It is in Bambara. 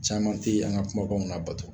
Caman tɛ an ka kumakanw labato